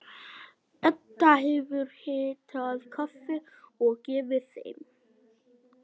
Edda hefur hitað kaffi og gefið þeim.